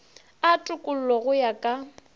a tokollo go ya ka